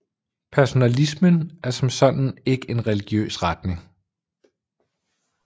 Personalismen som sådan er ikke en religiøs retning